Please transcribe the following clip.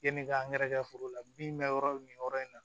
Yanni k'an gɛrɛ foro la min bɛ yɔrɔ min yɔrɔ in na